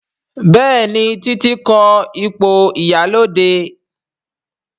Béèni Titi ko ipo ìyálóde.